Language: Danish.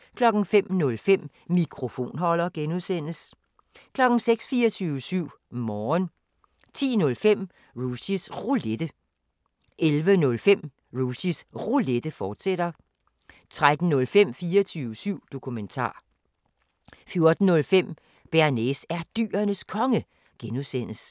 05:05: Mikrofonholder (G) 06:00: 24syv Morgen 10:05: Rushys Roulette 11:05: Rushys Roulette, fortsat 13:05: 24syv Dokumentar 14:05: Bearnaise er Dyrenes Konge (G)